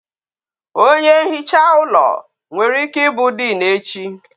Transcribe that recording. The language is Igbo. Onye nhicha ụlọ nwere ike ịbụ diin echi